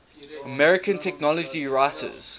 american technology writers